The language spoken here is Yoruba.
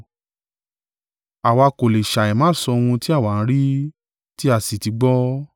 Àwa kò lè ṣàìmá sọ ohun tí àwa ń rí, tí a sì ti gbọ́.”